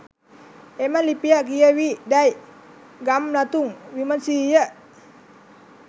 එම ලිපිය කියවී දැයි ගම්ලතුන් විමසීය.